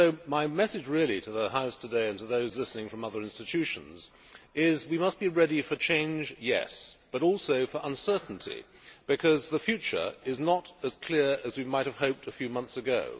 My message to the House today, and to those listening from other institutions, is that we must be ready for change, but also for uncertainty, because the future is not as clear as we might have hoped a few months ago.